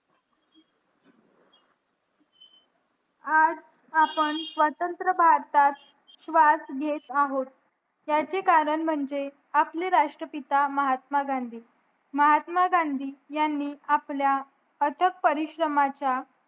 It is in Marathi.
आज आपण स्वतंत्र भारतात श्वास घेत आहोत ह्याचे कारण म्हणजे आपले राष्ट्रपिता महात्मा गांधी महात्मा गांधी ह्यांनी आपल्या अथक परिश्रमाच्या